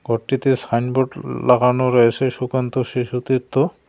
ঘরটিতে সাইনবোর্ড লাগানো রয়েছে সুকান্ত শিশু তীর্থ।